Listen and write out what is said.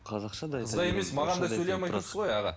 қызға емес маған да сөйлей алмай тұрсыз ғой аға